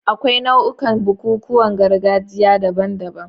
Akwai nau'ikan bukukuwan gargajiya daban-daban.